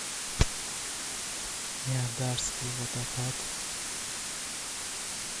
ниагарский водопад